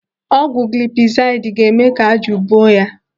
Ọgwụ gilipizaidi ga-eme ka ájụ̀ buo ya.